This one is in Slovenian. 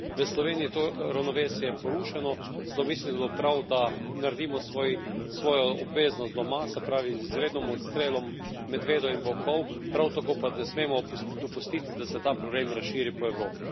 V Sloveniji je to ravnovesje porušeno, zato mislim, da bi bilo prav, da naredimo svojo obveznost doma, se pravi z izrednim odstrelom medvedov in volkov, prav tako pa ne smemo dopustiti, da se ta problem razširi po Evropi.